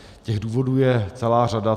Těch důvodů je celá řada.